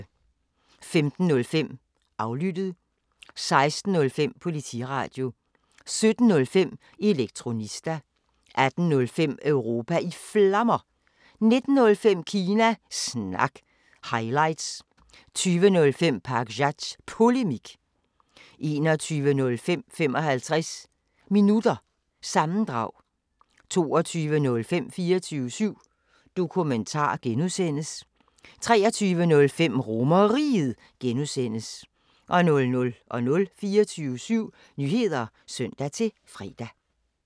15:05: Aflyttet 16:05: Politiradio 17:05: Elektronista 18:05: Europa i Flammer 19:05: Kina Snak – highlights 20:05: Pakzads Polemik 21:05: 55 Minutter – sammendrag 22:05: 24syv Dokumentar (G) 23:05: RomerRiget (G) 00:00: 24syv Nyheder (søn-fre)